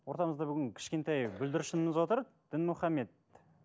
ортамызда бүгін кішкентай бүлдіршініміз отыр дінмұхаммед